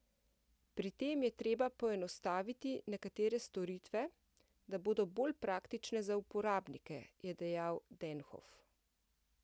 Pri tem je treba poenostaviti nekatere storitve, da bodo bolj praktične za uporabnike, je dejal Denhof.